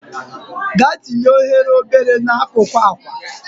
Gaa tinye oghere n'akụkụ akwa!.